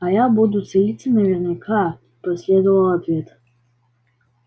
а я буду целиться наверняка последовал ответ